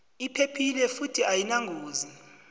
iphephile futhi ayinangozi